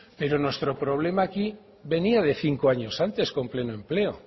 pero nuestro problema aquí venía de cinco años antes con pleno empleo